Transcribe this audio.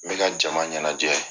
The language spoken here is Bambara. N bɛ ka jama ɲɛnajɛ.